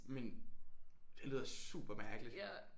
Men det lyder super mærkeligt